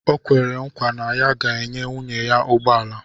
O kwere nkwa na ya ga-enye nwunye ya ụgbọ ala